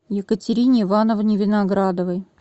екатерине ивановне виноградовой